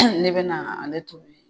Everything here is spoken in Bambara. Ne be na ale tobi.